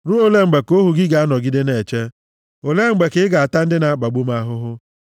Ruo olee mgbe ka ohu gị ga-anọgide na-eche? Olee mgbe ka ị ga-ata ndị na-akpagbu m ahụhụ?